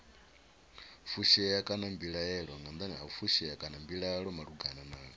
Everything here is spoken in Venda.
fushea kana mbilaelo malugana na